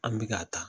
An bɛ ka taa